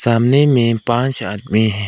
सामने में पांच आदमी हैं।